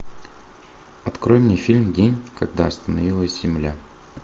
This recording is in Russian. открой мне фильм день когда остановилась земля